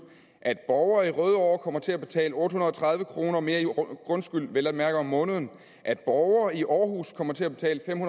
at borgere i rødovre kommer til at betale over otte hundrede og tredive kroner mere i grundskyld vel at mærke om måneden at borgere i aarhus kommer til at betale fem